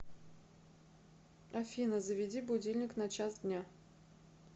афина заведи будильник на час дня